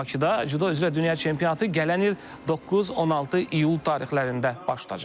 Bakıda Cüdo üzrə dünya çempionatı gələn il 9-16 iyul tarixlərində baş tutacaq.